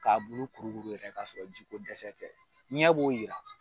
K'a bulu kuru kuru yɛrɛ k'a sɔrɔ ji ko dɛsɛ tɛ, ɲɛ b'o yira.